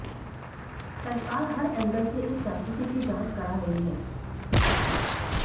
सरकार हर एंगल से इस जासूसी की जांच करा रही है